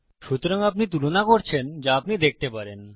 সুতরাং আপনি তুলনা করছেন যা আপনি দেখতে পারেন